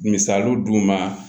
Misaliw d'u ma